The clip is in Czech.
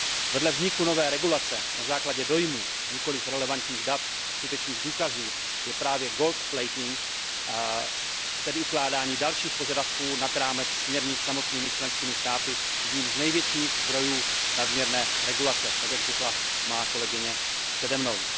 Vedle vzniku nové regulace na základě dojmů, nikoliv relevantních dat a skutečných důkazu je právě gold plating tedy ukládání dalších požadavků nad rámec směrnic samotnými členskými státy, jedním z největších zdrojů nadměrné regulace, tak jak řekla má kolegyně přede mnou.